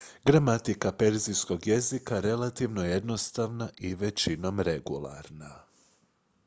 gramatika perzijskog jezika relativno je jednostavna i većinom regularna